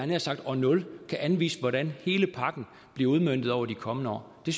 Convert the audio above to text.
nær sagt år nul kan anvise hvordan hele pakken bliver udmøntet over de kommende år det